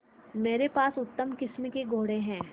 मेरे पास उत्तम किस्म के घोड़े हैं